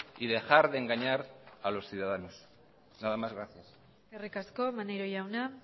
y dejar de engañar a los ciudadanos nada más gracias eskerrik asko maneiro jauna